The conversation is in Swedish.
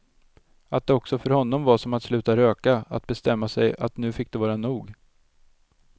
Att det också för honom var som att sluta röka, att bestämma sig att nu fick det vara nog.